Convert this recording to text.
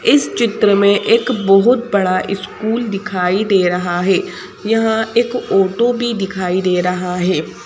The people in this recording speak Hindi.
इस चित्र में एक बहुत बड़ा स्कूल दिखाई दे रहा है यहां एक ऑटो भी दिखाई दे रहा है।